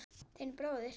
Þinn bróðir